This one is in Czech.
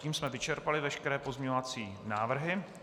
Tím jsme vyčerpali veškeré pozměňovací návrhy.